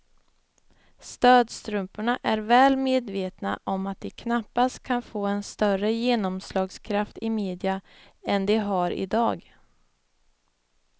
Stödstrumporna är väl medvetna om att de knappast kan få en större genomslagskraft i media än de har i dag.